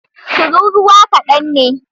tururuwa kadan ne.